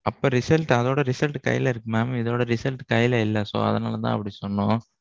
அப்போ result அதோட result கைல இருக்கு mam. இதோட result கையில இல்ல. so அதனால தான் அப்பிடி சொன்னோம்.